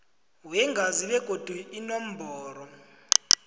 weengazi begodu inomboro